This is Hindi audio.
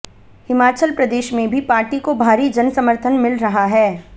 हिमाचल प्रदेश में भी पार्टी को भारी जनसमर्थन मिल रहा है